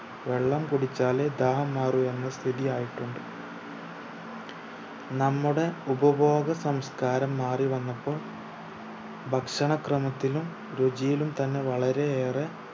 വെള്ളം കുടിച്ചാലെ ദാഹം മാറൂ എന്ന സ്ഥിതിയായിട്ടുണ്ട് നമ്മുടെ ഉപഭോഗ സംസ്‍കാരം മാറി വന്നപ്പോൾ ഭക്ഷണ ക്രമത്തിലും രുചിയിലും തന്നെ വളരെ ഏറെ